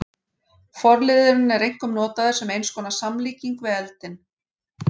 Forliðurinn er einkum notaður sem eins konar samlíking við eldinn.